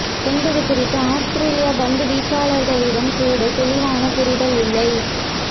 என்பது குறித்து ஆஸ்திரேலியா பந்து வீச்சாளர்களிடம் கூட தெளிவான புரிதல் இல்லை